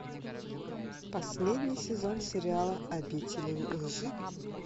последний сезон сериала обитель лжи